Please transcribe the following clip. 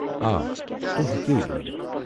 آ، تُہۍ ہٮ۪کو یہِ ؤنتھ ۔